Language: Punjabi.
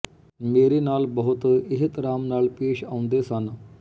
ਮੇਰੇ ਨਾਲ ਬਹੁਤ ਏਹਤਰਾਮ ਨਾਲ ਪੇਸ਼ ਆਉਂਦੇ ਸਨ